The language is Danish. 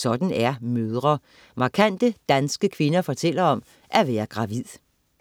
Sådan er mødre. Markante danske kvinder fortæller om at være gravid